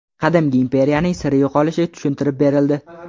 Qadimgi imperiyaning sirli yo‘qolishi tushuntirib berildi.